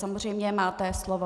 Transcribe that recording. Samozřejmě máte slovo.